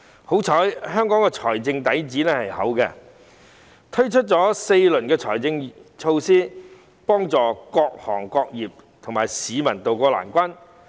幸好香港的財政底子豐厚，推出了4輪財政措施，幫助各行各業和市民渡過難關。